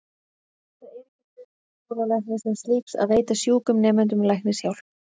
Það er ekki hlutverk skólalæknis sem slíks að veita sjúkum nemendum læknishjálp.